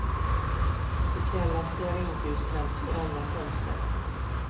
Speciella stearinljus tänds i alla fönster.